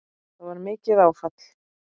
Það var mikið áfall.